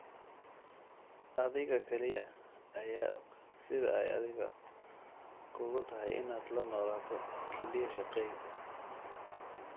Adiga kaliya ayaa og sida ay adiga kugu tahay inaad la noolaato kelyo shaqayn.